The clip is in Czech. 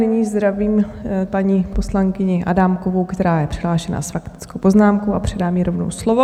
Nyní zdravím paní poslankyni Adámkovou, která je přihlášena s faktickou poznámkou, a předám jí rovnou slovo.